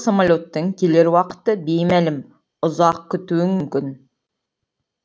самолеттің келер уақыты беймәлім ұзақ күтуің мүмкін